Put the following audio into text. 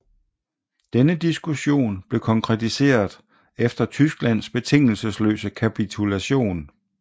Denne diskussion blev konkretiseret efter Tysklands betingelsesløse kapitulation